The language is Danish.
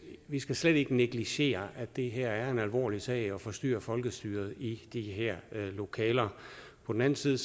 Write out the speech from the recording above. vi skal slet ikke negligere at det her er en alvorlig sag altså at forstyrre folkestyret i de her lokaler på den anden side